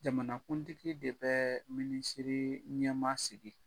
Jamanakuntigi de bɛ minisiri ɲɛma sigi.